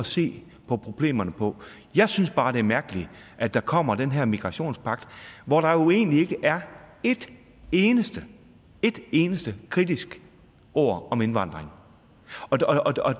se på problemerne på jeg synes bare det er mærkeligt at der kommer den her migrationspagt hvor der jo egentlig ikke er et eneste et eneste kritisk ord om indvandring